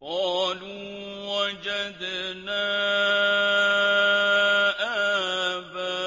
قَالُوا وَجَدْنَا آبَاءَنَا